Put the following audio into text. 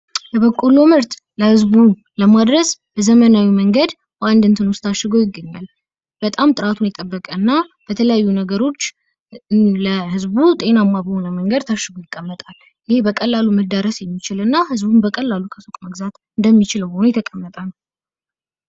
የበቆሎ ምርት ለህዝቡ ለማድረስ በዘመናዊ መንገድ በአንድ እንትን ታሽጎ ይገኛል። በጣም ጥራቱን የጠበቀና በተለያየ ነገሮች ለህዝቡ ጤናማ በሆነ መንገድ ታሽጎ ይቀመጣል። ይህ በቀላሉ መዳረስ የሚችልና በቀላሉ ከሱቅ መግዛት እንደሚችሉ የተቀመጠ ነው።